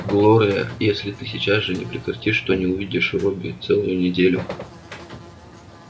глория если ты сейчас же не прекратишь то не увидишь робби целую неделю